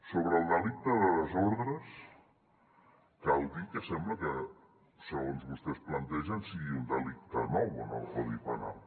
sobre el delicte de desordres cal dir que sembla que segons vostès ho plantegen sigui un delicte nou en el codi penal